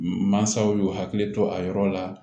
Mansaw y'u hakili to a yɔrɔ la